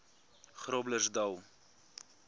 groblersdal